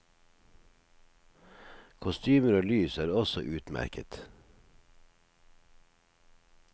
Kostymer og lys er også utmerket.